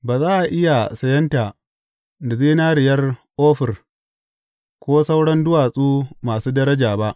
Ba za a iya sayenta da zinariyar Ofir, ko sauran duwatsu masu daraja ba.